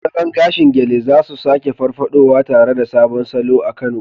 Salon gashin Gele za su sake farfaɗowa, tare da sabon salo a Kano.